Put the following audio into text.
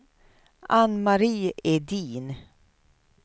Anne-Marie Edin